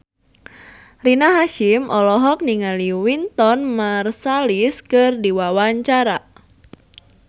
Rina Hasyim olohok ningali Wynton Marsalis keur diwawancara